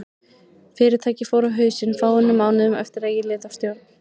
Fyrirtækið fór á hausinn fáeinum mánuðum eftir að ég lét af stjórn.